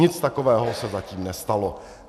Nic takového se zatím nestalo.